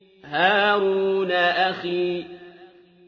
هَارُونَ أَخِي